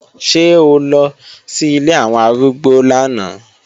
Ṣé o lọ sí ilé àwọn arúgbó lánàá?